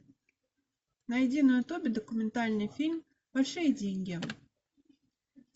найди на ютубе документальный фильм большие деньги